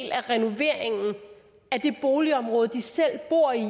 boligområde de selv bor i